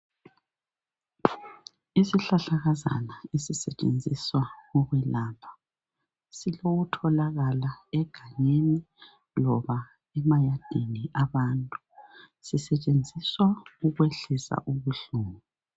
Isihlahlakazana esisetshenziswa ukwelapha. Silokutholakala egangeni loba emayadini abantu. Sisetshenziswa ukwehlisa ubuhlungu.